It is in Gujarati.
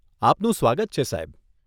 આપનું સ્વાગત છે, સાહેબ.